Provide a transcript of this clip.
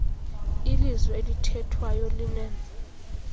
ilizwi elithethwayo linen